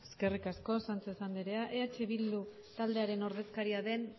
eskerrik asko sánchez anderea eh bildu taldearen ordezkariaren